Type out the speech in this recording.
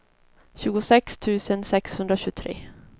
tjugosex tusen sexhundratjugotre